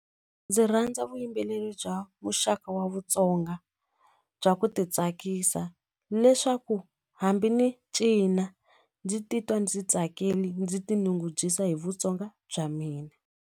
Ndzi rhandza vuyimbeleri bya muxaka wa Vutsonga bya ku titsakisa leswaku hambi ni cina ndzi titwa ndzi tsakile ndzi tinyungubyisa hi Vutsonga bya mina.